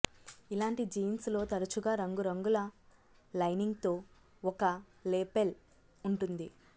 ఇలాంటి జీన్స్ లో తరచుగా రంగురంగుల లైనింగ్తో ఒక లేపెల్ ఉంటుంది